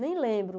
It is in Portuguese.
Nem lembro.